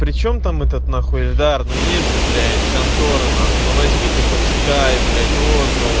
причём там этот нахуй эльдар ну есть же блять конторы нахуй ну возьми ты почитай блять отзывы